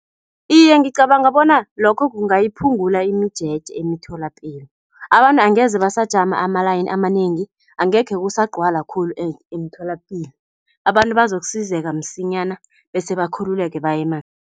Iye, ngicabanga bona lokho kungayiphungula imijeje emitholapilo. Abantu angeze basajama ama-line amanengi, angekhe kusagcwala khulu emtholapilo, abantu bazokusizeka msinyana bese bakhululeke